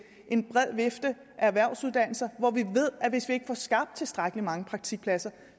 en bred vifte af erhvervsuddannelser hvor vi ved at hvis vi ikke får skabt tilstrækkelig mange praktikpladser